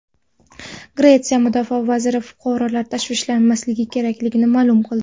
Gretsiya mudofaa vaziri fuqarolar tashvishlanmasligi kerakligini ma’lum qildi.